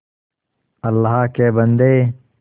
अल्लाह के बन्दे